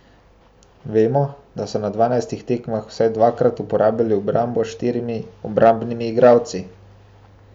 Vemo, da so na dvanajstih tekmah vsaj desetkrat uporabili obrambo s štirimi obrambnimi igralci.